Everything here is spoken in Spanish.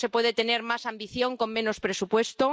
No se puede tener más ambición con menos presupuesto.